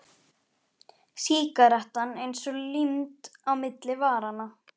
Sígarettan eins og límd á milli varanna.